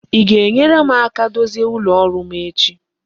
I ga-enyere m aka dozie ụlọ rụọ m echi?